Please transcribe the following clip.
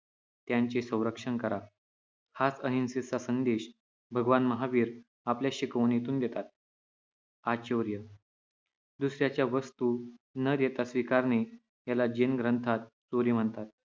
त्यांचे संरक्षण करा. हाच अहिंसेचा संदेश भगवान महावीर आपल्या शिकवणीतून देतात. आचौर्य दुसऱ्याच्या वस्तू न देता स्वीकारणे याला जैन ग्रंथात चोरी म्हणतात.